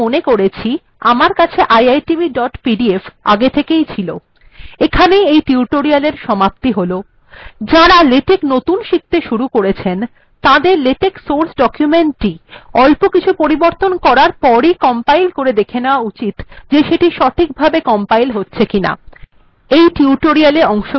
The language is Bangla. এখানে আমি মনে করেছি যে আমার কাছে iitbpdf আগে থেকে ই ছিল এখানেই এই টিউটোরিয়াল্ এর সমাপ্তি হল যাঁরা লেটেক নতুন শিখতে শুরু করেছেন তাঁদের লেটেক সোর্স ডকুমেন্টটি অল্প কিছু পরিবর্তন করার পরই কম্পাইল করে দেখে নেওয়া উচিত যে সেটি সঠিকভাবে কম্পাইল হচ্ছে কিনা